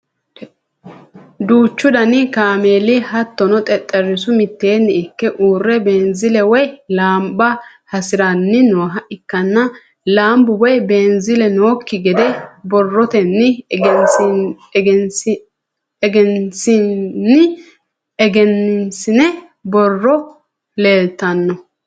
duuchu dani kaameeli hattono xexxerisu mitteenni ikke uurre beenzile woyi laamba hasiranni nooha ikkanna, laambu woyi beenziile nookki gede borrotenni egensiinni borrono leeltanno.